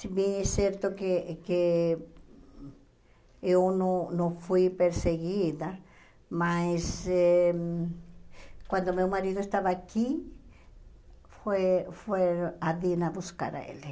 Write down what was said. Se bem é certo que que eu não não fui perseguida, mas eh quando meu marido estava aqui, foi foi a Dina buscar ele.